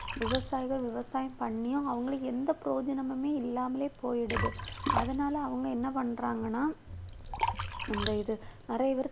விவசாயிகள் விவசாயம் பண்ணியும் அவங்களுக்கு எந்த பிரயோஜனமுமே இல்லாமலே போயிடுது அதனால அவங்க என்ன பண்றாங்கன்னா இந்த இது நிறைய பேர்